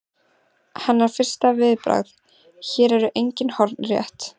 Hennar fyrsta viðbragð: Hér eru engin horn rétt.